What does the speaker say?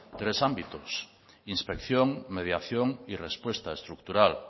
tres ámbitos inspección mediación y respuesta estructural